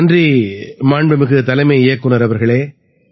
நன்றி மாண்புமிகு தலைமை இயக்குநர் அவர்களே